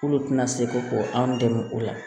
K'olu tɛna se ko anw dɛmɛ o la